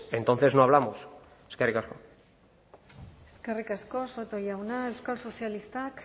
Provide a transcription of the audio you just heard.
entonces no hablamos eskerrik asko eskerrik asko soto jauna euskal sozialistak